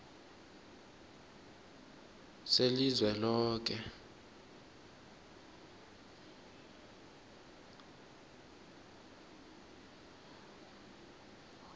selizweloke